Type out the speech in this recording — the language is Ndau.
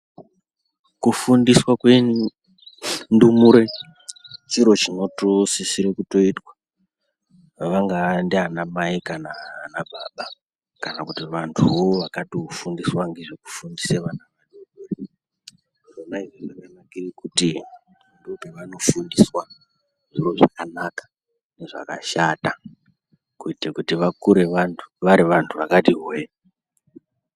Kufundiswa kwendumure chiro chinotosisire kutoitwa. Vangaa ndianamai kana ana baba, kana kuti vanthuwo vakatofundiswa ngezvekufundise vana, kuzvikora zvona izvozvo, ndokwevanofundiswa zviro zvakanaka, nezvakashata, kuite kuti vakure vari vanthu vakati hwee.